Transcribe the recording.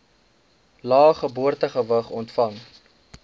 lae geboortegewig ontvang